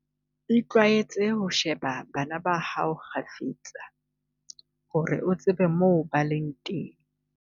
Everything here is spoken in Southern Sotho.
Itlwaetse ho sheba bana ba hao kgafetsa, hore o tsebe moo ba leng teng.